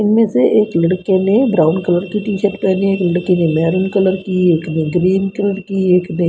इनमे से एक लड़के ने ब्राउन कलर की टी-शर्ट पहनी है एक लड़के ने महेरून कलर की एक ने ग्रीन कलर कि एक ने --